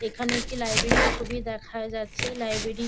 এখানে একটি লাইব্রেরি -র ছবি দেখা যাচ্ছে। লাইব্রেরি --